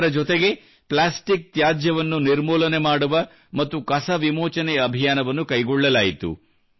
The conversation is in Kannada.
ಇದರ ಜೊತೆಗೆ ಪ್ಲಾಸ್ಟಿಕ್ ತ್ಯಾಜ್ಯವನ್ನು ನಿರ್ಮೂಲನೆ ಮಾಡುವ ಮತ್ತು ಕಸ ವಿಮೋಚನೆ ಅಭಿಯಾನವನ್ನು ಕೈಗೊಳ್ಳಲಾಯಿತು